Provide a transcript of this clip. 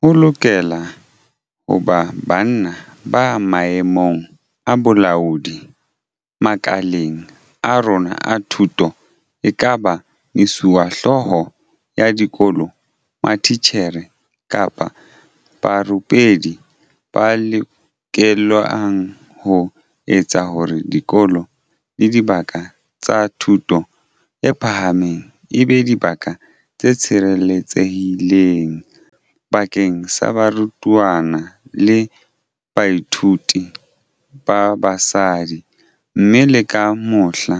Ho lokela ho ba banna ba maemong a bolaodi makaleng a rona a thuto, ekaba mesuwehlooho ya dikolo, matitjhere kapa barupelli, ba lokelang ho etsa hore dikolo le dibaka tsa thuto e phahameng e be dibaka tse sireletsehileng bakeng sa barutwana le bathuiti ba basadi, mme le ka mohla,